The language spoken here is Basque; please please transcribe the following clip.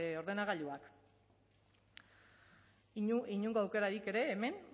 ordenagailuak inongo aukerarik ere hemen